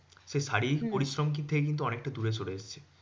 সেই শারীরিক পরিশ্রম থেকে কিন্তু অনেকটা দূরে সরে যাচ্ছে।